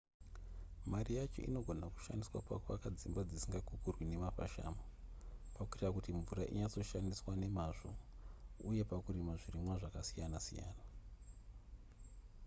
mari yacho inogona kushandiswa pakuvaka dzimba dzisingakukurwi nemafashamu pakuita kuti mvura inyatsoshandiswa nemazvo uye pakurima zvirimwa zvakasiyana-siyana